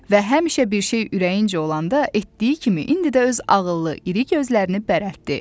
Və həmişə bir şey ürəyincə olanda etdiyi kimi indi də öz ağıllı iri gözlərini bərətdi.